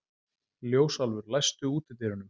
Ljósálfur, læstu útidyrunum.